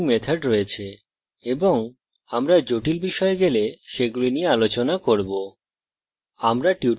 আমরা জটিল বিষয়ে গেলে সেগুলি নিয়ে আলোচনা করব